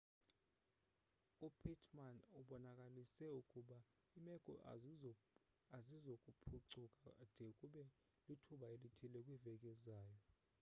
upittmann ubonakalise ukuba iimeko azizokuphucuka de kube lithuba elithile kwiveki ezayo